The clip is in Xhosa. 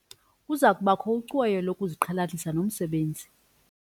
Kuza kubakho ucweyo lokuziqhelanisa nomsebenzi.